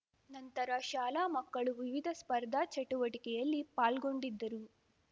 ನಂತರ ಶಾಲಾ ಮಕ್ಕಳು ವಿವಿಧ ಸ್ಪರ್ಧಾ ಚಟುವಟಿಕೆಯಲ್ಲಿ ಪಾಲ್ಗೊಂಡಿದ್ದರು